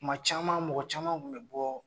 Kuma caman mɔgɔ caman kun bɛ bɔ.